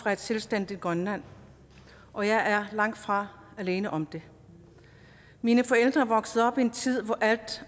fra et selvstændigt grønland og jeg er langtfra alene om det mine forældre voksede op i en tid hvor alt